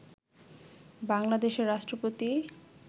বাংলাদেশের রাষ্ট্রপতি